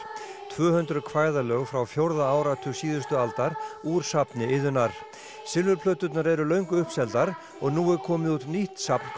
tvö hundruð kvæðalög frá fjórða áratug síðustu aldar úr safni Iðunnar eru löngu uppseldar og nú er komið út nýtt safn